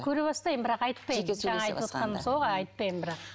көре бастаймын бірақ айтпаймын айтпаймын бірақ